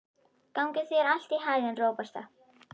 Gangi þér allt í haginn, Róberta.